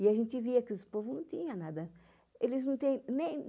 E a gente via que os povos não tinham nada. Eles não tem nem